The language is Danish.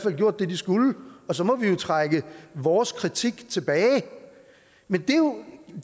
og gjort det de skulle og så må vi jo trække vores kritik tilbage men det er jo